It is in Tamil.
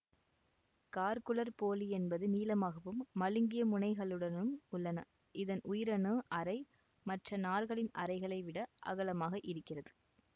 காழ்க் குழற்போலி என்பது நீளமாகவும் மழுங்கியமுனைகளுடனும் உள்ளன இதன் உயிரணு அறை மற்ற நார்களின் அறைகளை விட அகலமாக இருக்கிறது